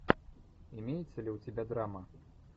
имеется ли у тебя драма